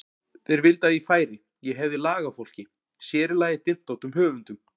Þeir vildu að ég færi, ég hefði lag á fólki, sér í lagi dyntóttum höfundum.